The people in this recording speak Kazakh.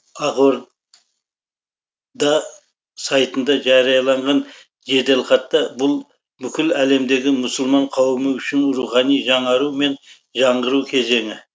ақорда сайтында жарияланған жеделхатта бұл бүкіл әлемдегі мұсылман қауымы үшін рухани жаңару мен жаңғыру кезеңі